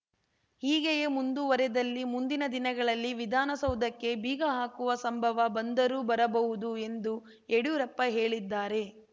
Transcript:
ಹೀಗೆಯೇ ಮುಂದುವರೆದಲ್ಲಿ ಮುಂದಿನ ದಿನಗಳಲ್ಲಿ ವಿಧಾನಸೌಧಕ್ಕೆ ಬೀಗ ಹಾಕುವ ಸಂಭವ ಬಂದರೂ ಬರಬಹುದು ಎಂದು ಯಡ್ಯೂರಪ್ಪ ಹೇಳಿದ್ದಾರೆ